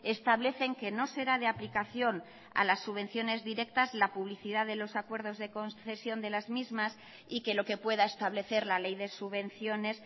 establecen que no será de aplicación a las subvenciones directas la publicidad de los acuerdos de concesión de las mismas y que lo que pueda establecer la ley de subvenciones